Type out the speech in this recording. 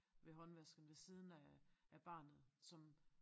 Ved håndvasken ved siden af af barnet som